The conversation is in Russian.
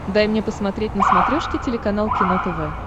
дай мне посмотреть на смотрешке телеканал кино тв